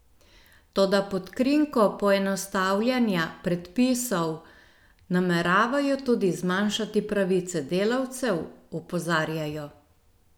Toda pod krinko poenostavljanja predpisov nameravajo tudi zmanjšati pravice delavcev, opozarjajo.